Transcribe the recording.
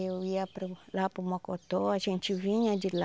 Eu ia para o lá para o Mocotó, a gente vinha de lá.